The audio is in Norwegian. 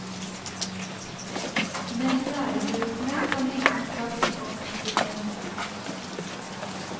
Men lærebøkene har liten plass i offensiven.